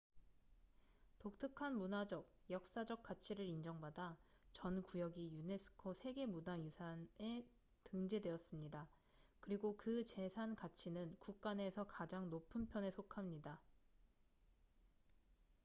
독특한 문화적 역사적 가치를 인정받아 전 구역이 유네스코 세계 문화유산에 등재되었습니다 그리고 그 재산 가치는 국가 내에서 가장 높은 편에 속합니다